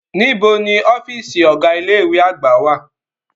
Nibo ni ọfiisi ọga ile-iwe agba wa?